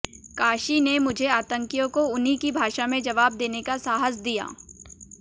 काशी ने मुझे आतंकियों को उन्हीं की भाषा में जवाब देने का साहस दिया